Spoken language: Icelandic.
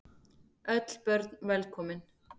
Öll börn velkomin.